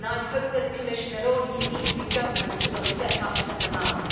I hope that the Commission and all the EU governments will step up to the mark.